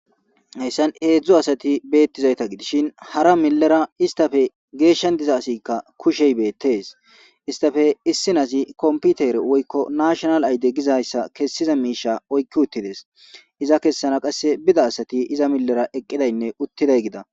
Hayssan heedzdzu asati beettizayta gidishin hara millera istafe geeshshan diza asikka kushey beettees istafe issinazi komputer woykko nashonal ayde gizayssa kessiza miisha oykki uttides iza kessana qasse bida asati iza millera eqqidaynne uttiday gida.